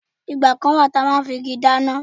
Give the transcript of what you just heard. Ìgbà kan wà tí a máa ń fi igi dáná.